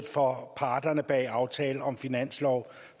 for parterne bag aftalen om finansloven